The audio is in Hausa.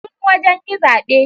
Sun wajan yi zabe